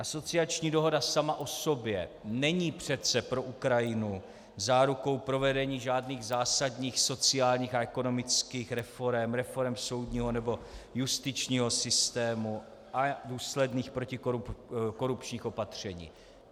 Asociační dohoda sama o sobě není přece pro Ukrajinu zárukou provedení žádných zásadních sociálních a ekonomických reforem, reforem soudního nebo justičního systému a důsledných protikorupčních opatření.